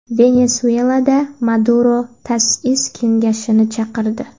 Venesuelada Maduro ta’sis kengashini chaqirdi.